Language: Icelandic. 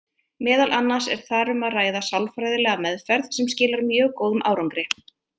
Meðal annars er þar um að ræða sálfræðilega meðferð sem skilar mjög góðum árangri.